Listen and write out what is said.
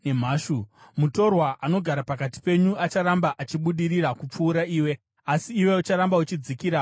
Mutorwa anogara pakati penyu acharamba achibudirira kupfuura iwe, asi iwe ucharamba uchidzikira pasi pasi.